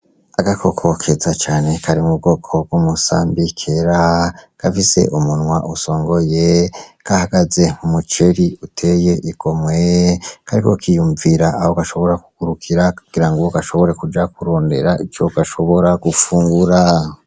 Agakoko keza cane kari mu bwoko bw'umusambi kera, gafise umunwa usongoye, gahagaze mu muceri uteye igomwe. Kariko kiyumvira aho gashobora kugurukira kugira ngo gashobore kuja kurondera ico gashobora gufungura.